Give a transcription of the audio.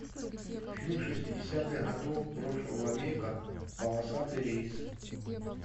фильм шестидесятых годов прошлого века полосатый рейс